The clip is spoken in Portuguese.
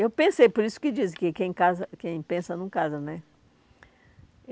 Eu pensei, por isso que dizem que quem casa quem pensa não casa, né?